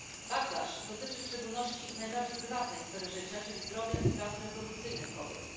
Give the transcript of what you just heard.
Backlash dotyczy w szczególności najbardziej prywatnej sfery życia, czyli zdrowia i praw reprodukcyjnych kobiet.